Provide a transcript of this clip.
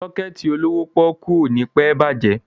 Sọ́kẹ̀tì olówó pọ́ọ́kú ò ní pẹ́ bàjẹ́.